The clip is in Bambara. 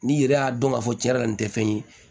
N'i yɛrɛ y'a dɔn k'a fɔ tiɲɛ yɛrɛ la nin tɛ fɛn ye